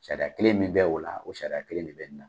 Sariya kelen min bɛ o la, o sariya kelen de bɛ nin na.